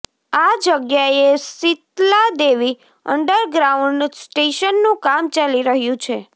આ જગ્યાએ સિતલાદેવી અંડરગ્રાઉન્ડ સ્ટેશનનું કામ ચાલી રહ્યું છે